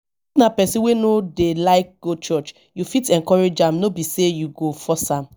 na person wey no dey like go church you fit encourage am no be sey you go force am